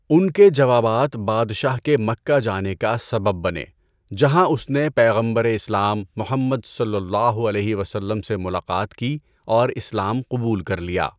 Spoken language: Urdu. ان کے جوابات بادشاہ کے مکہ جانے کا سبب بنے، جہاں اس نے پیغمبر اسلام محمد صلی اللہ علیہ وسلم سے ملاقات کی اور اسلام قبول کر لیا۔